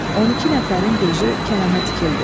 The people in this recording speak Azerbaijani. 12 nəfərin gözü Kərəmə dikildi.